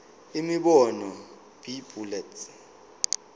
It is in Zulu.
imibono b bullets